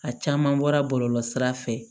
A caman bɔra bɔlɔlɔsira fɛ